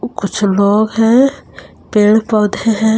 कुछ लोग हैं पेड़ पौधे हैं।